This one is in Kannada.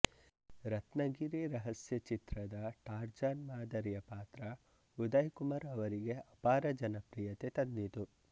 ರತ್ನಗಿರಿ ರಹಸ್ಯ ಚಿತ್ರದ ಟಾರ್ಜಾನ್ ಮಾದರಿಯ ಪಾತ್ರ ಉದಯ್ ಕುಮಾರ್ ಅವರಿಗೆ ಅಪಾರ ಜನಪ್ರಿಯತೆ ತಂದಿತು